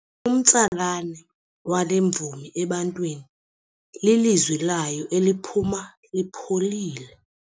Umtsalane wale mvumi ebantwini lilizwi layo eliphuma lipholile.